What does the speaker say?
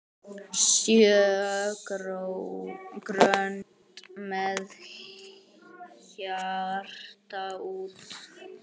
Sjö grönd með hjarta út.